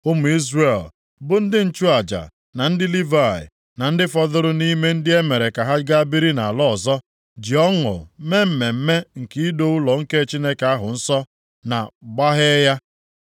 Ụmụ Izrel, bụ ndị nchụaja na ndị Livayị, na ndị fọdụrụ nʼime ndị e mere ka ha ga biri nʼala ọzọ, ji ọṅụ mee mmemme nke ido ụlọ nke Chineke ahụ nsọ na gbaghee ya.